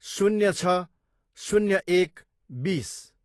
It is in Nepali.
शून्य छ, शून्य एक, बिस